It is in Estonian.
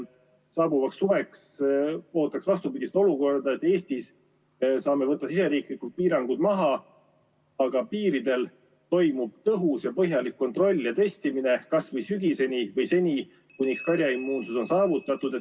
Saabuvaks suveks ootaks vastupidist olukorda, et Eestis saame võtta siseriiklikud piirangud maha, aga piiridel toimub tõhus ja põhjalik kontroll ja testimine kas või sügiseni või seni, kuni karjaimmuunsus on saavutatud.